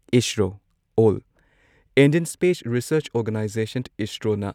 ISRO ꯑꯣꯜ Indian space research organisation ꯏꯁꯔꯣꯅ